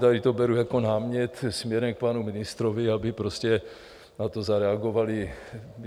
Tady to beru jako námět směrem k panu ministrovi, aby prostě na to zareagovali.